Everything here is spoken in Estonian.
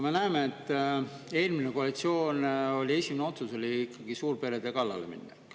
Me näeme, et eelmise koalitsiooni esimene otsus oli suurperede kallale minna.